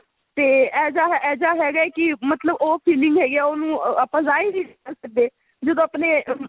ਤੇ ਐਜਾ ਐਜਾ ਹੈਗਾ ਹੈ ਕੀ ਮਤਲਬ ਉਹ feeling ਹੈਗੀ ਹੈ ਉਹਨੂੰ ਆਪਾਂ ਜਾਹਿਰ ਨਹੀਂ ਕਰ ਸਕਦੇ ਜਦੋ ਆਪਣੇ